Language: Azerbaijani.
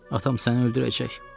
Atam səni öldürəcək.